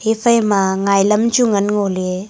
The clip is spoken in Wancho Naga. ephai ma ngai lam chu ngan ngo ley.